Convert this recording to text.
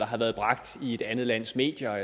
har været bragt i et andet lands medier og